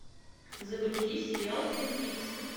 загрузи сериал твин пикс